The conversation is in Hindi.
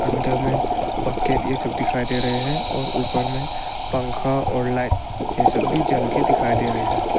अंदर में बकेट ये सब दिखाई दे रहे हैं और ऊपर में पंखा और लाइट ये सब भी जल के दिखाई दे रहे हैं।